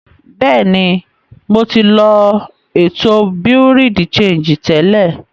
Bẹ́ẹ̀ni, ḿó ti lọ ètò Bureau de sangí tẹ́lẹ̀.